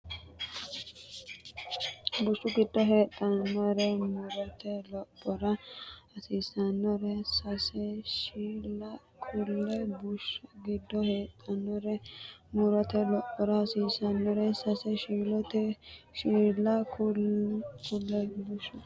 Bushshu giddo heedhannore mu’rote lophora hasiissannore sase shiilla kulle Bushshu giddo heedhannore mu’rote lophora hasiissannore sase shiilla kulle Bushshu giddo.